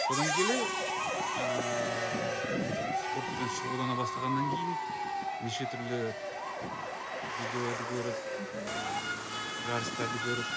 содан келе ыыы енді спортпен шұғылдана бастағаннан кейін неше түрлі видеоларды көріп ыыы жарыстарды көріп